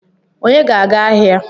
Onye ga-aga ahịa?